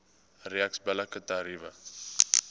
reeks billike tariewe